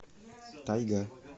тайга